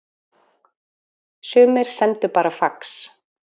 Sumir sendu bara fax